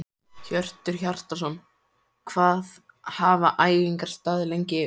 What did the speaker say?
Hjörtur Hjartarson: Hvað hafa æfingar staðið yfir lengi?